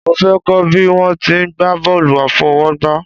Mo fẹ́ kọ́ bí wọ́n ti ń gba bọ́ọ̀lù àfọwọ́gbá